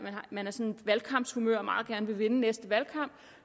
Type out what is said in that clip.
valgkampshumør og meget gerne vil vinde næste valgkamp